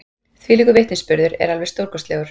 Þvílíkur vitnisburður er alveg stórkostlegur.